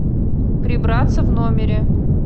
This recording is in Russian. прибраться в номере